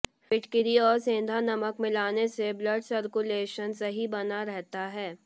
फिटकरी और सेंधा नमक मिलाने से ब्लड सर्कुलेशन सही बना रहता हैं